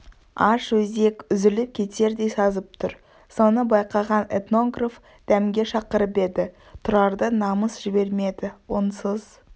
аш өзек үзіліп кетердей сазып тұр соны байқаған этнограф дәмге шақырып еді тұрарды намыс жібермеді онсыз